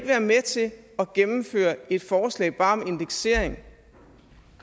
være med til at gennemføre et forslag bare om indeksering